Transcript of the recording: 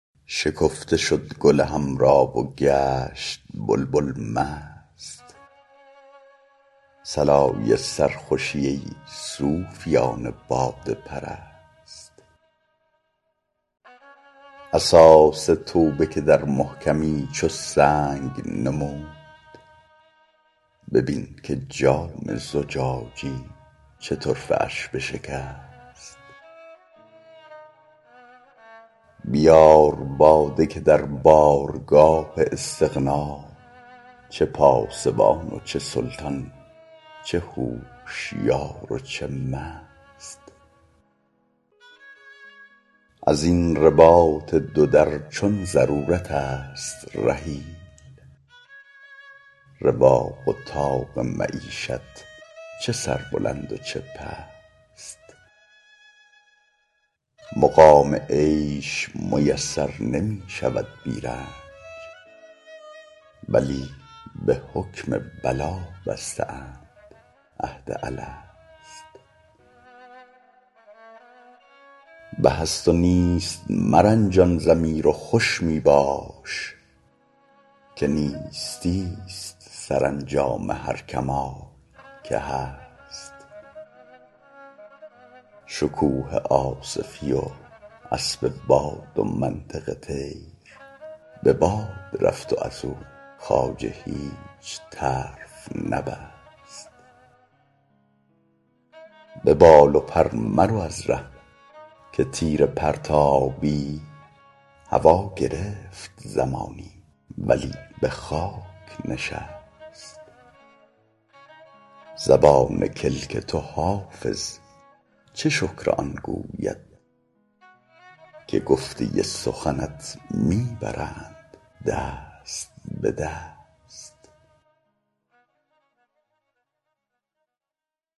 شکفته شد گل حمرا و گشت بلبل مست صلای سرخوشی ای صوفیان باده پرست اساس توبه که در محکمی چو سنگ نمود ببین که جام زجاجی چه طرفه اش بشکست بیار باده که در بارگاه استغنا چه پاسبان و چه سلطان چه هوشیار و چه مست از این رباط دو در چون ضرورت است رحیل رواق و طاق معیشت چه سربلند و چه پست مقام عیش میسر نمی شود بی رنج بلی به حکم بلا بسته اند عهد الست به هست و نیست مرنجان ضمیر و خوش می باش که نیستی ست سرانجام هر کمال که هست شکوه آصفی و اسب باد و منطق طیر به باد رفت و از او خواجه هیچ طرف نبست به بال و پر مرو از ره که تیر پرتابی هوا گرفت زمانی ولی به خاک نشست زبان کلک تو حافظ چه شکر آن گوید که گفته سخنت می برند دست به دست